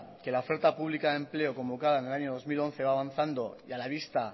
que la oferta pública de empleo convocada en el año dos mil once va avanzando y a la vista